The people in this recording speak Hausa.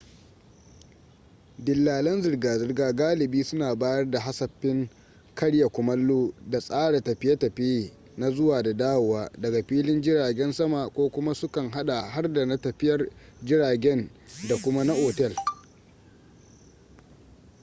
dillalan zirga-zirga galibi suna bayar da hasafin karya kumallo da tsara tafiye-tafiye na zuwa da dawowa daga filin jiragen sama ko kuma su kan hada har da na tafiyar jiragen da kuma na otel